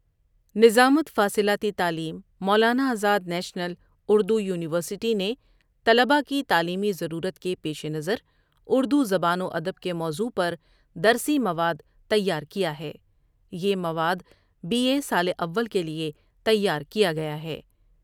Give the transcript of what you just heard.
نظامت فاصلاتی تعلیم‘مولا نا آزاد نیشنل اُردو یونیورسٹی نے طلبا کی تعلیمی ضرورت کے پیش نظر اردو زبان وادب کے موضوع پردرسی مواد تیار کیا ہے۔ یہ مواد بی اےسال اول کے لیے تیار کیا گیا ہے۔